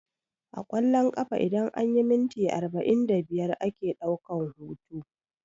A ƙwallon ƙafa idan anyi minti arba'in da biyar ake ɗaukan hutu